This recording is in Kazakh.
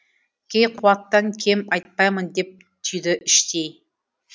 кейқуаттан кем айтпаймын деп түйді іштей